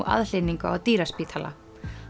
aðhlynningu á dýraspítala